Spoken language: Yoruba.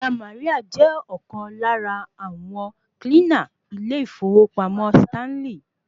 Ìyá Maria je ọ̀kan lára àwọn kílínà ilé ìfowópamọ́ Sítálìn